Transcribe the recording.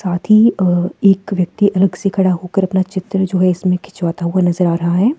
साथ ही अ एक व्यक्ति अलग से खड़ा होकर अपना चित्र जो है इसमें खिंचवाता हुआ नजर आ रहा है।